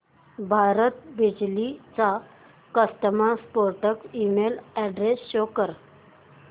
भारत बिजली चा customer support email address show कर